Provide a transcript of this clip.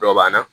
Dɔbanna